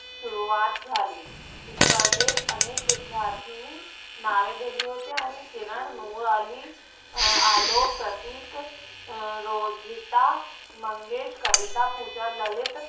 सुरवात झाली. स्पर्धेत अनेक विद्यार्थ्यांनी नावे दिली होती आणि किरण नुरालि आलोक, प्रतीक, रोजिता, मंगेश, कविता, पूजा, ललित